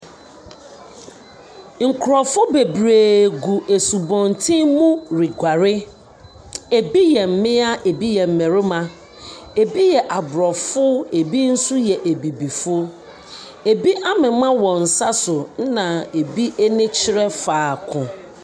Nkurɔfo bebree gu asubɔntene mu reguare. Ebi yɛ mmea, ebi yɛ mmarima. Ebi yɛ Aborɔfo, ebi nso yɛ Abibifo. Ebi amema wɔn nsa so, ɛna ebi ani kyerɛ faako.